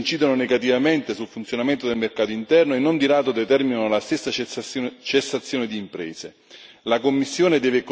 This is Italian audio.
Le conseguenze di tali azioni incidono negativamente sul funzionamento del mercato interno e, non di rado, determinano la stessa cessazione di imprese.